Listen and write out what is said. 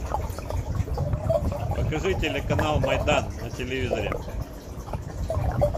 покажи телеканал майдан на телевизоре